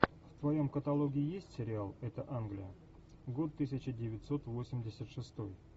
в твоем каталоге есть сериал это англия год тысяча девятьсот восемьдесят шестой